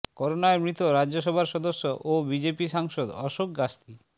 করোনায় মৃত রাজ্যসভার সদস্য ও বিজেপি সাংসদ অশোক গাস্তি